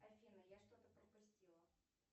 афина я что то пропустила